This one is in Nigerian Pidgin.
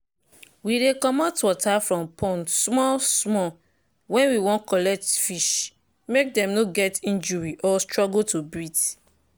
we dey comot water from pond small small when we wan collect fish make them no get injury or struggle to breathe